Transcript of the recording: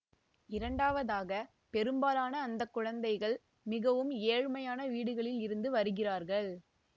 இரண்டாவதாக பெரும்பாலான அந்த குழந்தைகள் மிகவும் ஏழ்மையான வீடுகளில் இருந்து வருகிறார்கள்